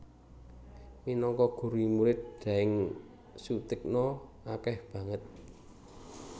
Minangka guru Murid Daeng Soetigna akeh banget